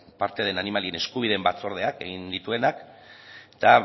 parte den animalien eskubideen batzordeak egin dituenak eta